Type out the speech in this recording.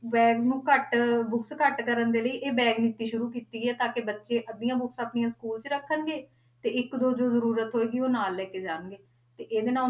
Bag ਨੂੰ ਘੱਟ books ਘੱਟ ਕਰਨ ਦੇ ਲਈ ਇਹ bag ਨੀਤੀ ਸ਼ੁਰੂ ਕੀਤੀ ਹੈ ਤਾਂ ਕਿ ਬੱਚੇ ਅੱਧੀਆਂ books ਆਪਣੀਆਂ school 'ਚ ਰੱਖਣਗੇ ਤੇ ਇੱਕ ਦੋ ਜੋ ਜ਼ਰੂਰਤ ਹੋਏਗੀ ਉਹ ਨਾਲ ਲੈ ਕੇ ਜਾਣਗੇ ਤੇ ਇਹਦੇ ਨਾਲ